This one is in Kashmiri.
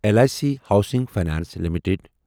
L I C housing finance limited